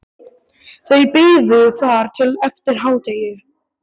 Þau biðu þar til eftir hádegi.